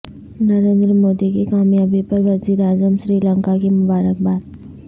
نریندر مودی کی کامیابی پر وزیر اعظم سری لنکا کی مبارکباد